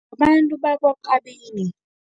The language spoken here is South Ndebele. Abantu bakwaKabini.